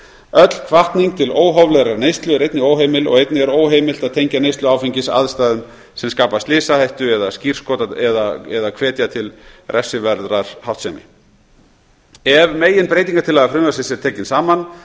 öll hvatning til óhóflegrar neyslu er einnig óheimil og einnig er óheimilt að tengja neyslu áfengis aðstæðum sem skapa slysahættu eða hvetja til refsiverðrar háttsemi ef meginbreytingartillaga frumvarpsins er tekin saman